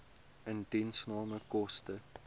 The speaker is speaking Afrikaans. indiensname koste